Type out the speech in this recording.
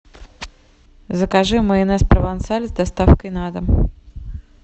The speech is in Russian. закажи майонез провансаль с доставкой на дом